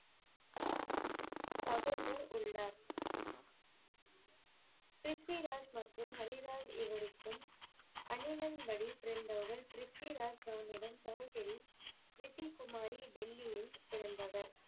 சகோதரர் உள்ளார். ப்ரித்விராஜ் மற்றும் ஹரிராய் இருவருக்கும் அணிகன் படி பிறந்தவர் ப்ரித்விராஜ் சகோதரன் சகோதரி ரித்தி குமாரி டெல்லியில் பிறந்தவர்.